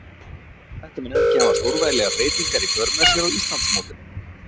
Þetta mun ekki hafa stórvægilegar breytingar í för með sér á Íslandsmótinu.